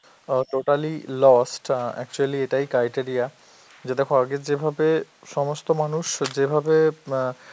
অ্যাঁ totally lost, uh actually এটাই criteria, যে দেখো আগে যেভাবে সমস্ত মানুষ যেভাবে অ্যাঁ